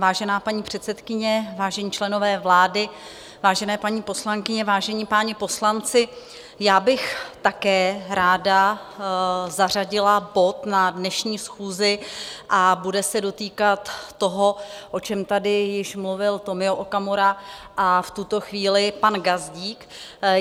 Vážená paní předsedkyně, vážení členové vlády, vážené paní poslankyně, vážení páni poslanci, já bych také ráda zařadila bod na dnešní schůzi a bude se dotýkat toho, o čem tady již mluvil Tomio Okamura a v tuto chvíli pan Gazdík.